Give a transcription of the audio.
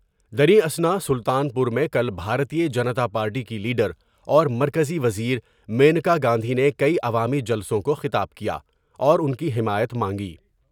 درے اسنا میں اثناء سلطان پور میں کل بھارتیہ جنتا پارٹی کی لیڈر اور مرکزی وزیر مینکا گاندھی نے کئی عوامی جلسوں کو خطاب کیا ، اور ان کی حمایت مانگی ۔